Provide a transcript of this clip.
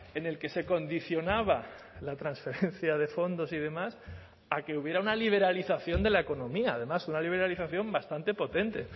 en el que se condicionaba la transferencia de fondos y demás a que hubiera una liberalización de la economía además una liberalización bastante potente